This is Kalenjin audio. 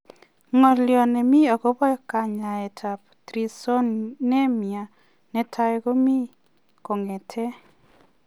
Ngolyoo nemii akopoo kanyaet ap traisonemia netai komii kongetee